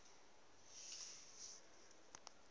yihsrc mrc dbsa